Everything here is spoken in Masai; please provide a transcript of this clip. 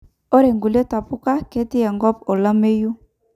ore nkulie tapuka ketii enkop olameyu